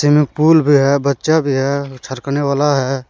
Pool भी है बच्चा भी है छरकने वाला है।